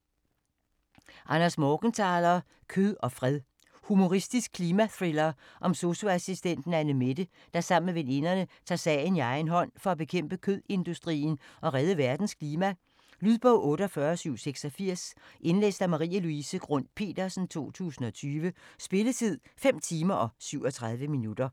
Morgenthaler, Anders: Kød og fred Humoristisk klimathriller om sosu-assistenten Annemette, der sammen med veninderne tager sagen i egen hånd for at bekæmpe kødindustrien og redde verdens klima. Lydbog 48786 Indlæst af Marie-Louise Grund Petersen, 2020. Spilletid: 5 timer, 37 minutter.